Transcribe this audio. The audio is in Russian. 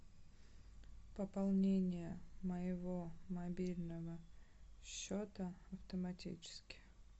пополнение моего мобильного счета автоматически